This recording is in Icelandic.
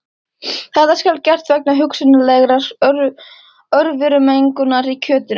Þetta skal gert vegna hugsanlegrar örverumengunar í kjötinu.